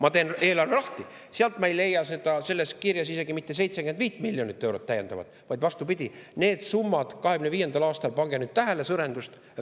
Aga kui ma teen eelarve lahti, siis sealt ma ei leia seda, seal ei ole isegi mitte 75 miljonit eurot täiendavalt, vaid vastupidi, need summad 2025. aastal – pange nüüd tähele!